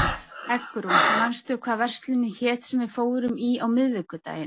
Eggrún, manstu hvað verslunin hét sem við fórum í á miðvikudaginn?